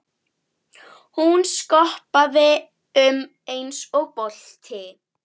Hún skoppaði um eins og bolti.